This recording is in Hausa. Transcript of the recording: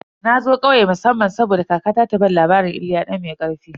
Na zo ƙauye musamman saboda kakata ta bani labarin "Iliya dan mai karfi"